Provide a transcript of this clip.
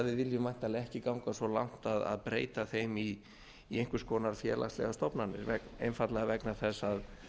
þó við viljum væntanlega ekki ganga svo langt að breyta þeim í einhvers konar félagslegar stofnanir einfaldlega vegna þess að